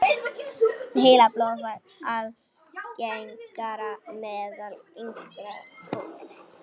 Heilablóðfall algengara meðal yngra fólks